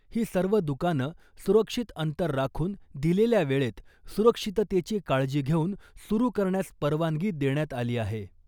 ही सर्व दुकानं सुरक्षित अंतर राखून , दिलेल्या वेळेत , सुरक्षिततेची काळजी घेऊन सुरू करण्यास परवानगी देण्यात आली आहे .